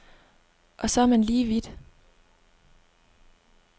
Og så er man lige vidt.